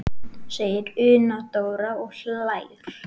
segir Una Dóra og hlær.